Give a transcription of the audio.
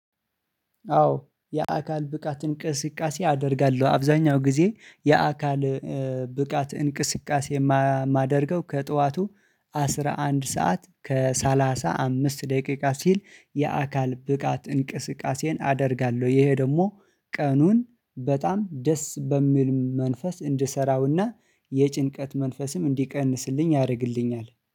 አዎ የአካል ብቃት እንቅስቃሴ አደርጋለሁ። አብዛኛው ጊዜ የአካል ብቃት እንቅስቃሴ ማ ማድርገው ከጧቱ አስራ አንድ ስዓት ከሰላሳ አምስት ደቂቃ ሲል የአካል ብቃት እንቅስቃሴን አደርጋለሁ። ይህ ደግሞ ቀኑን በጣም ደስ በሚል መንፈስ እንድሰራውና የጭንቀት መንፈስን እንዲቀንስልኝ ያደርግልኛል